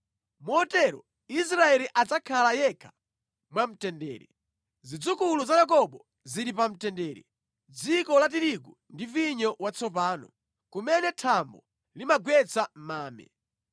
Motero Israeli adzakhala yekha mwamtendere; zidzukulu za Yakobo zili pa mtendere mʼdziko la tirigu ndi vinyo watsopano, kumene thambo limagwetsa mame.